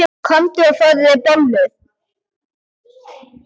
Komdu og fáðu þér bollur.